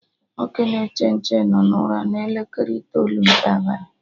Nwoke na-eche nche no na ụra na elekere itoolu nke abalị